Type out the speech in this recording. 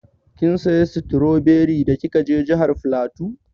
Kin saya stroberi da kika je jihar flatu?